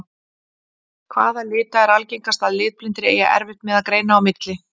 Hvaða lita er algengast að litblindir eigi erfitt með að greina á milli?